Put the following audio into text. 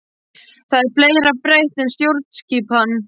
Það er fleira breytt en stjórnskipan.